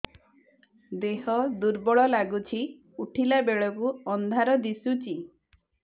ଦେହ ଦୁର୍ବଳ ଲାଗୁଛି ଉଠିଲା ବେଳକୁ ଅନ୍ଧାର ଦିଶୁଚି